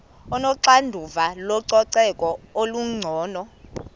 onoxanduva lococeko olungcono